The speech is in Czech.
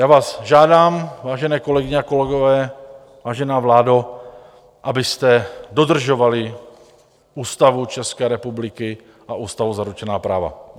Já vás žádám, vážené kolegyně a kolegové, vážená vládo, abyste dodržovali Ústavu České republiky a ústavou zaručená práva.